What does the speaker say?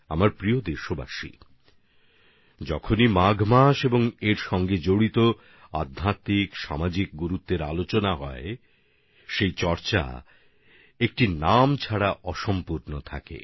আমার প্রিয় দেশবাসী যখনই মাঘ মাস এবং এর আধ্যাত্মিক সামাজিক মহিমার কথা আলোচনায় উঠে আসে তখন সেখানে একটা নাম উচ্চারিত না হলে অসম্পূর্ণতা থেকে যায়